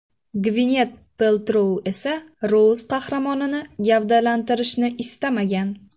Gvinet Peltrou esa Rouz qahramonini gavdalantirishni istamagan.